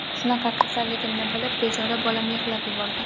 Shunaqa kasalligimni bilib, bechora bolam yig‘lab yuborgan.